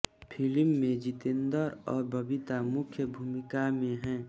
film में जितेन्द्र और बबीता मुख्य भूमिका में हैं